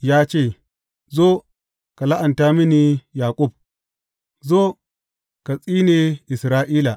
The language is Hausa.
Ya ce, Zo, ka la’anta mini Yaƙub; zo, ka tsine Isra’ila.’